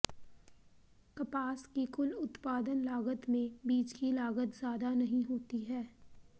कपास की कुल उत्पादन लागत में बीज की लागत ज़्यादा नहीं होती है